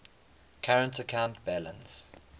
current account balance